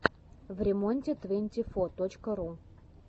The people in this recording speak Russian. времонте твэнти фо точка ру